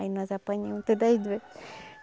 Aí nós apanhamos todas as duas.